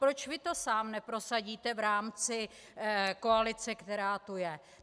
Proč vy to sám neprosadíte v rámci koalice, která tu je?